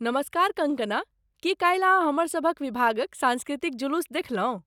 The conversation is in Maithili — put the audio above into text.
नमस्कार कंगकना! की काल्हि अहाँ हमरसभक विभागक सांस्कृतिक जुलूस देखलहुँ?